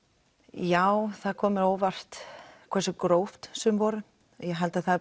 já það kom mér á óvart hversu grófar sumar voru ég held að það